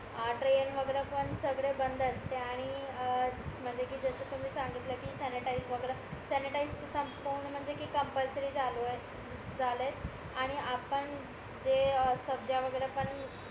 हां ट्रेन वगैरे पण सांगडे बंद असते आणि अं म्हणजे कि जस तुम्ही सांगितलं कि सॅनिटाईझ वगैरे सॅनिटाईझ संपवणे म्हणजे कि कॉम्पल्सरी झालो आहे झालाय आणि आपण जे अं सभज्या वगैरे पण